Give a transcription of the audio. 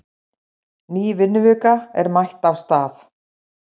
Ný vinnuvika er mætt af stað.